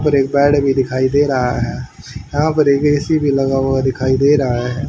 और एक बेड भी दिखाई दे रहा है यहां पर एक ए_सी भी लगा हुआ दिखाई दे रहा है।